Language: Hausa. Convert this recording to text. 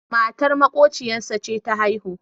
matar maƙocinsa ce ta haihu